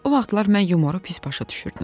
O vaxtlar mən yumoru pis başa düşürdüm.